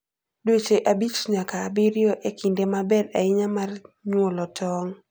Dweche abich nyaka abiriyo e kinde maber ahinya mar nyuolo tong'.